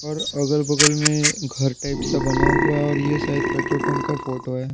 अगल-बगल में घर टाइप सा बना हुआ है और यह शायद पेट्रोल पंप का फोटो है।